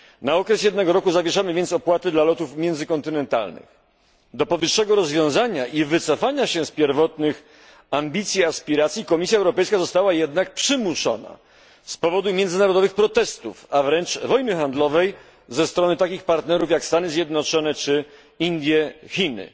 Na okres jednego roku zawieszamy więc opłaty dla lotów międzykontynentalnych. Do powyższego rozwiązania i wycofania się z pierwotnych ambicji i aspiracji Komisja Europejska została jednak przymuszona z powodu międzynarodowych protestów, a wręcz wojny handlowej ze strony takich partnerów jak Stany Zjednoczone, Indie czy Chiny.